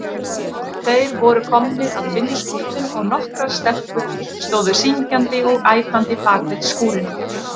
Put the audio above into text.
Þeir voru komnir að vinnuskúrnum og nokkrar stelpur stóðu syngjandi og æpandi bakvið skúrinn.